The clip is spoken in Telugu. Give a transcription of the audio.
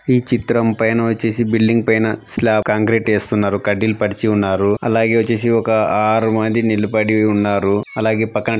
ఈ చిత్రం పైన వచ్చేసి బిల్డింగ్ పైన స్లాబ్ కాంక్రీట్ వేస్తున్నారు. కడ్డీలు పరిచి ఉన్నారు. అలాగే వచ్చేసి ఒక ఆరు మంది నిలబడి ఉన్నారు. అలాగే పక్కన--